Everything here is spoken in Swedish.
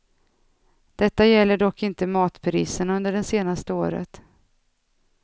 Detta gäller dock inte matpriserna under det senaste året.